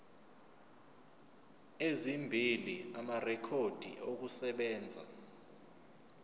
ezimbili amarekhodi okusebenza